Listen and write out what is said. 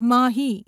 Mahi